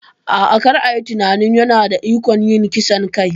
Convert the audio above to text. A'a, kar a yi tunanin yana da ikon yin kisan kai.